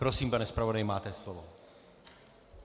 Prosím, pane zpravodaji, máte slovo.